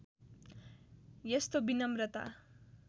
यस्तो विनम्रता